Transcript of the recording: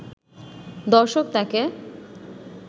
দর্শক তাকে